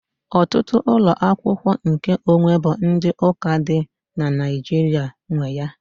Ọtụtụ ụlọ akwụkwọ nkeonwe bụ ndị ụka dị na Naịjirịa nwe ya.